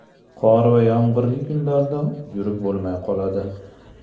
Qor va yomg‘irli kunlarda yurib bo‘lmay qoladi”.